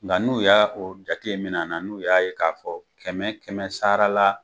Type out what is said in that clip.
Nka n'u y'a o jate minɛn na n'u y'a ye k'a fɔ kɛmɛ kɛmɛ sara la